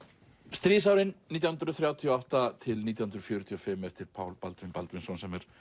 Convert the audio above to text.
stríðsárin nítján hundruð þrjátíu og átta til nítján hundruð fjörutíu og fimm eftir Pál Baldvin Baldvinsson sem er